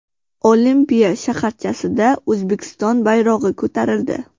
Olimpiya shaharchasida O‘zbekiston bayrog‘i ko‘tarildi.